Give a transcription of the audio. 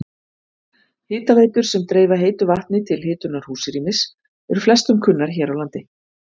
Hitaveitur sem dreifa heitu vatni til hitunar húsrýmis eru flestum kunnar hér á landi.